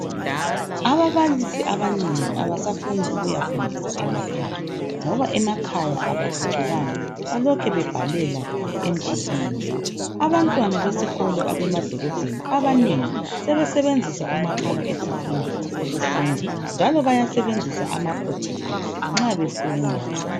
Ababalisi abanengi abasafuni ukuyafundisa emakhaya, ngoba emakhaya abaphucukanga, balokhu bebhalela emdulwini. Abantwana besikolo abemadolobheni abanengi sebesebenzisa umakhalekhukhwini ukufunda, njalo bayasebenzisa ama projector nxa befunda.